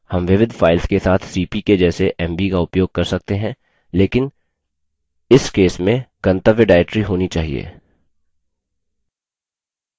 हम विविध files के साथ cp के जैसे mv का उपयोग कर सकते हैं लेकिन इस case में गंतव्य directory होना चाहिए